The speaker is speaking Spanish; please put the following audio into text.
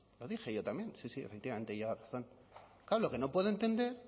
lo dije yo también efectivamente lleva razón claro lo que no puedo entender